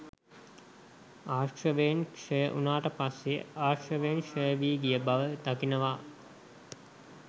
ආස්‍රවයන් ක්ෂය වුණාට පස්සෙ ආස්‍රවයන් ක්ෂය වී ගිය බව දකිනවා.